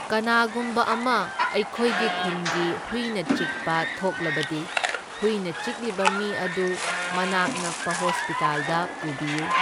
ꯀꯅꯥꯒꯨꯝꯕ ꯑꯃ ꯑꯩꯈꯣꯏꯒꯤ ꯈꯨꯟꯒꯤ ꯍꯨꯏꯅ ꯆꯤꯛꯄ ꯊꯣꯛꯂꯕꯗꯤ ꯍꯨꯏꯅ ꯆꯤꯛꯂꯤꯕ ꯃꯤ ꯑꯗꯨ ꯃꯅꯥꯛ ꯅꯛꯄ ꯍꯣꯁꯄꯤꯇꯥꯜꯗ ꯄꯨꯕꯤꯌꯨ꯫